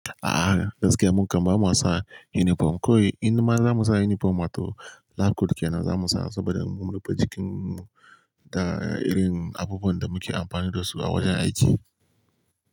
A'a gaskiya mun kam bama sa uniform, ko in ma zamu sa uniform wato, lab coat kenan zamu sa saboda mu rufe jikin mu da irin abubuwan da muke amfani dasu a wajen aiki.